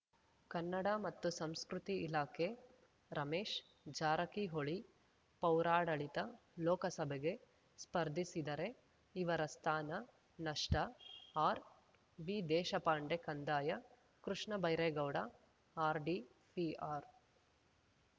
ಕನ್ನಡ ಮತ್ತು ಸಂಸ್ಕೃತಿ ಇಲಾಖೆ ರಮೇಶ್‌ ಜಾರಕಿಹೊಳಿ ಪೌರಾಡಳಿತ ಲೋಕಸಭೆಗೆ ಸ್ಪರ್ಧಿಸಿದರೆ ಇವರ ಸ್ಥಾನ ನಷ್ಟ ಆರ್‌ವಿ ದೇಶಪಾಂಡೆ ಕಂದಾಯ ಕೃಷ್ಣ ಬೈರೇಗೌಡ ಆರ್‌ಡಿಪಿಆರ್‌